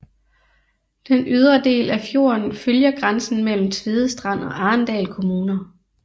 Den ydre del af fjorden følger grænsen mellem Tvedestrand og Arendal kommuner